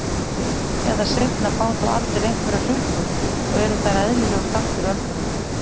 Fyrr eða seinna fá þó allir einhverjar hrukkur og eru þær eðlilegur þáttur öldrunar.